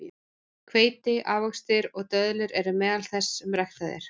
Hveiti, ávextir og döðlur eru meðal þess sem ræktað er.